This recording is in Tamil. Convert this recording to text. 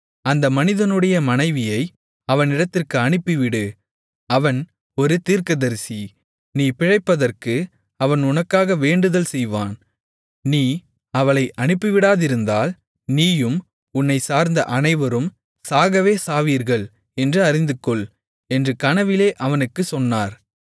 அந்த மனிதனுடைய மனைவியை அவனிடத்திற்கு அனுப்பிவிடு அவன் ஒரு தீர்க்கதரிசி நீ பிழைப்பதற்கு அவன் உனக்காக வேண்டுதல் செய்வான் நீ அவளை அனுப்பிவிடாதிருந்தால் நீயும் உன்னைச் சார்ந்த அனைவரும் சாகவே சாவீர்கள் என்று அறிந்துகொள் என்று கனவிலே அவனுக்குச் சொன்னார்